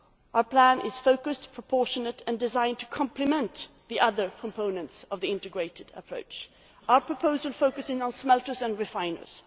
Our plan is focused, proportionate and designed to complement the other components of the integrated approach. Our proposal focuses on smelters and refiners.